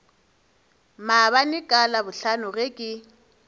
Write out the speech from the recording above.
maabane ka labohlano ge ke